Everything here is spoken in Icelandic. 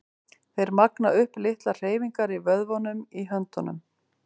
Þeir magna upp litlar hreyfingar í vöðvunum í höndunum.